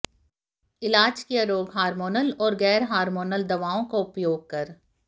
इलाज किया रोग हार्मोनल और गैर हार्मोनल दवाओं का उपयोग कर